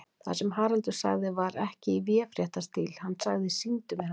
Það sem Haraldur sagði var ekki í véfréttarstíl, hann sagði: Sýndu mér hana.